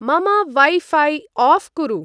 मम वै-ऴै आऴ् कुरु।